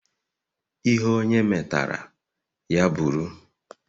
Ihe onye metara, ya bụrụ.